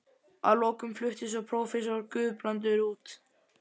Að lokum flutti svo prófessor Guðbrandur